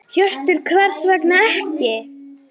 Hjörtur: Hvers vegna ekki?